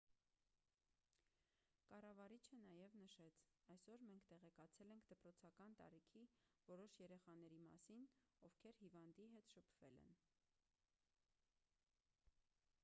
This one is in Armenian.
կառավարիչը նաև նշեց այսօր մենք տեղեկացել ենք դպրոցական տարիքի որոշ երեխաների մասին ովքեր հիվանդի հետ շփվել են